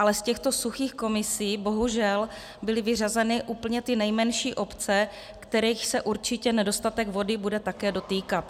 Ale z těchto suchých komisí bohužel byly vyřazeny úplně ty nejmenší obce, kterých se určitě nedostatek vody bude také dotýkat.